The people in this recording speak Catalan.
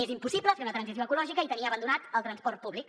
és impossible fer una transició ecològica i tenir abandonat el transport públic